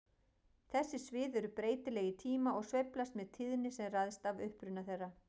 Þessi svið eru breytileg í tíma og sveiflast með tíðni sem ræðst af uppruna þeirra.